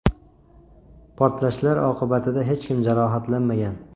Portlashlar oqibatida hech kim jarohatlanmagan.